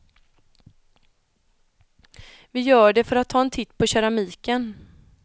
Vi gör det för att ta en titt på keramiken.